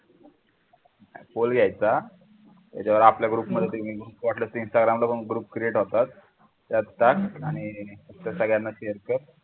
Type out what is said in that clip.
pole घ्यायचा त्याच्यावर आपल्या group मध्ये Instagram ला पण group create होतात त्या टाक आणि सगळ्यांना share कर